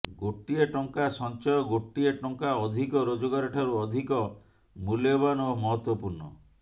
ଗୋଟିଏ ଟଙ୍କା ସଞ୍ଚୟ ଗୋଟିଏ ଟଙ୍କା ଅଧିକ ରୋଜଗାର ଠାରୁ ଅଧିକ ମୂଲ୍ୟବାନ ଓ ମହତ୍ୱପୂର୍ଣ୍ଣ